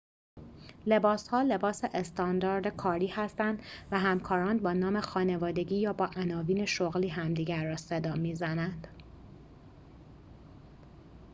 لباس ها لباس استاندارد کاری هستند و همکاران با نام خانوادگی یا با عناوین شغلی همدیگر را صدا می‌زنند